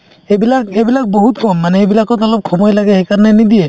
সেইবিলাক এইবিলাক বহুত কম মানে এইবিলাকত অলপ সময় লাগে সেইকাৰণে নিদিয়ে